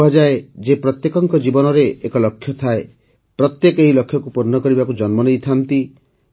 କୁହାଯାଏ ଯେ ପ୍ରତ୍ୟେକଙ୍କ ଜୀବନରେ ଏକ ଲକ୍ଷ୍ୟ ଥାଏ ପ୍ରତ୍ୟେକ ଏହି ଲକ୍ଷ୍ୟକୁ ପୂର୍ଣ୍ଣ କରିବାକୁ ଜନ୍ମ ନେଇଥାନ୍ତି